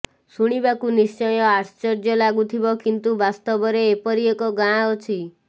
ଶୁଣିବାକୁ ନିଶ୍ଚୟ ଆଶ୍ଚର୍ଯ୍ୟ ଲାଗୁଥିବ କିନ୍ତୁ ବାସ୍ତବରେ ଏପରି ଏକ ଗାଁ ଅଛି